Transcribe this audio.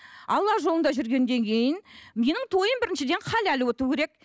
алла жолында жүргеннен кейін менің тойым біріншіден халяль өту керек